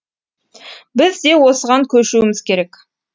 біз де осыған көшуіміз керек